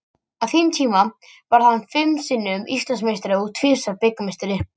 Á þeim tíma varð hann fimm sinnum Íslandsmeistari og tvisvar bikarmeistari.